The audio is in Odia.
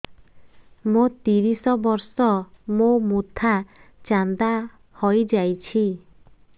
ମୋ ତିରିଶ ବର୍ଷ ମୋ ମୋଥା ଚାନ୍ଦା ହଇଯାଇଛି